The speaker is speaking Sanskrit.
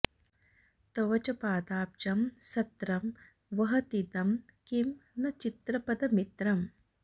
तव च पदाब्जं सत्रं वहतीदं किं न चित्रपदमित्रम्